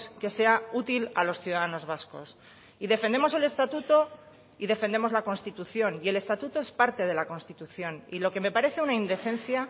que sea útil a los ciudadanos vascos y defendemos el estatuto y defendemos la constitución y el estatuto es parte de la constitución y lo que me parece una indecencia